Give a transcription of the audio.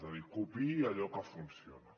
és a dir copiï allò que funciona